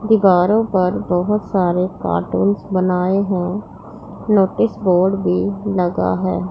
दीवारों पर बहुत सारे कार्टून्स बनाए हुए नोटिस बोर्ड भी लगा है।